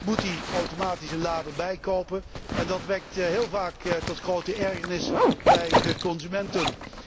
Daar moet hij automatisch een lader bijkopen en dat leidt heel vaak tot grote ergernis bij de consumenten.